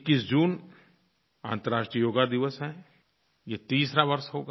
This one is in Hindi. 21 जून अन्तर्राष्ट्रीय योग दिवस है ये तीसरा वर्ष होगा